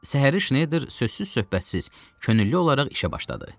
Səhəri Şneyder sözsüz-söhbətsiz könüllü olaraq işə başladı.